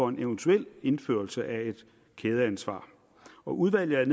en eventuel indførelse af et kædeansvar udvalget